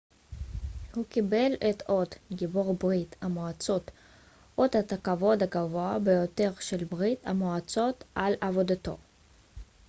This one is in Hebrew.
הוא קיבל את אות גיבור ברית המועצות אות הכבוד הגבוה ביותר של ברית המועצות על עבודתו